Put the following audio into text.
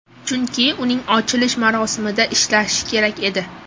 Chunki uning ochilish marosimida ishlashi kerak edi”.